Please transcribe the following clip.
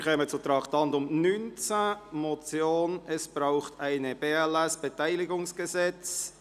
Wir kommen zum Traktandum 19, einer Motion mit dem Titel «Es braucht ein BLS-Beteiligungsgesetz».